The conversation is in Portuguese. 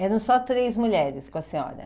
Eram só três mulheres com a senhora?